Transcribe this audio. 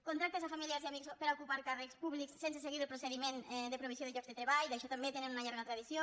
contractes a familiars i amics per a ocupar càrrecs públics sense seguir el procediment de provisió de llocs de treball d’això també tenen una llarga tradició